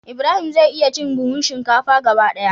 Ibrahim zai iya cin buhun shinkafa gaba daya.